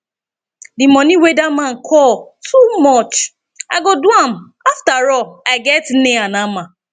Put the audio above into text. the money wey dat man call too much i go do am afterall i get nail and hammer